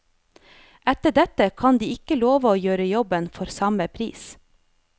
Etter dette kan de ikke love å gjøre jobben for samme pris.